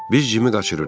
Biz Jimi qaçırırıq.